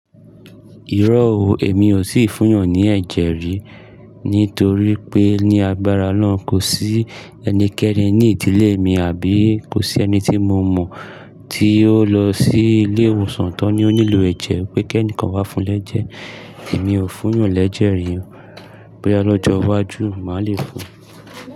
Irọ́ o, èmi ò tì fún'yàn ní ẹ̀jẹ̀ rí, nítorí pé ní agbára náà kò sí ẹnikẹ́ni ní ìdílé mi àbí kò sí ẹni tí mo mọ̀ tí ó lọ sí ilé ìwòsàn tó ní ó nílò ẹ̀jẹ̀ pé kí ẹnìkan wá fún lẹ́jẹ̀. Èmi ò fún'yàn lẹ́jẹ̀ rí o, bóyá lọ́jọ́ iwájú màá le fún.